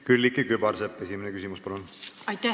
Külliki Kübarsepp, esimene küsimus, palun!